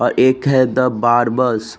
और एक है द बारबर्स ।